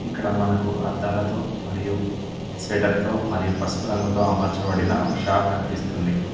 ఇక్కడ మనకు అద్దాలతో మరియు సేటర్ తో మరియు పసుపు రంగుతో అమర్చబడిన షాపు కనిపిస్తుంది.